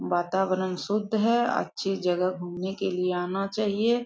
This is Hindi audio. वातावरण शुद्ध है अच्छी जगह घूमने के लिए आना चाहिए।